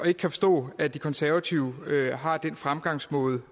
ikke kan forstå at de konservative har den fremgangsmåde